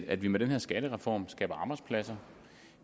at vi med den her skattereform skaber arbejdspladser